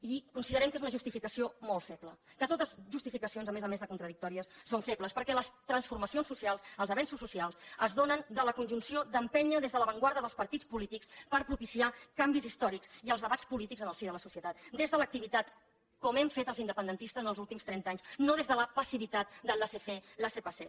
i considerem que és una justificació molt feble que totes les justificacions a més a més de contradictòries són febles perquè les transformacions socials els avenços socials es donen de la conjunció d’empènyer des de l’avantguarda dels partits polítics per propiciar canvis històrics i els debats polítics en el si de la societat des de l’activitat com hem fet els independentistes en els últims trenta anys no des de la passivitat del laissez faire laissez passer